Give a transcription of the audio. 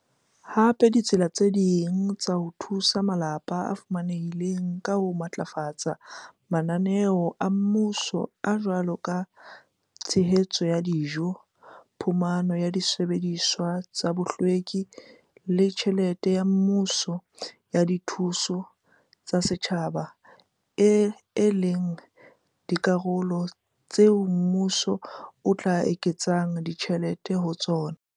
hape ditsela tse ding tsa ho thusa malapa a fumanehileng ka ho matlafatsa mananeo a mmuso a a jwalo ka a tshehetso ya dijo, phumano ya disebediswa tsa bohlweki le tjhelete ya mmuso ya dithuso tsa setjhaba e leng dikarolo tseo mmuso o tla eketsang tjhelete ho tsona.